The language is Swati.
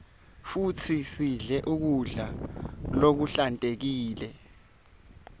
futsi sidle kudla lokuhlantekile